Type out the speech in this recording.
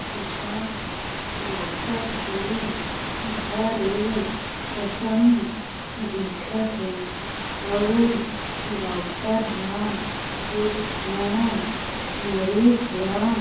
ऐ हा डॉक्टर के घर ए असन दिखथे अउ डॉक्टर हा एक झन मरीज ला --